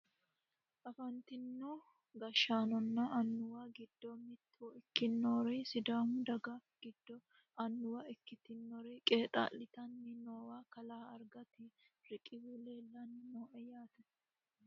afantino gashshaanonna annuwu giddo mitto ikkinori sidaamu daga giddo annuwa ikkitinori qexaa'litanni noowa kalaa argati riqehu leellannni no yaate .